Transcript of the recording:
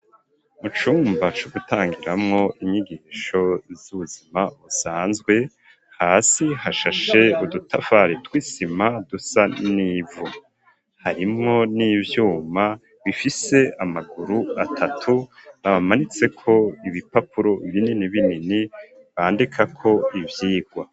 Mu cumba c'ugutangiramwo inyigisho z'ubuzima busanzwe, hasi hashashe udutafari tw'isima dusa n'ivu, harimwo n'ivyuma bifise amaguru atatu, bamanitseko ibipapuro binini binini bandikako ivyigwa.